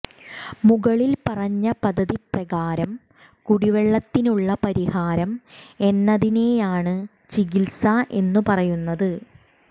മുകളിൽ പറഞ്ഞ പദ്ധതി പ്രകാരം കുടിവെള്ളത്തിനുള്ള പരിഹാരം എന്നതിനെയാണ് ചികിത്സ എന്ന് പറയുന്നത്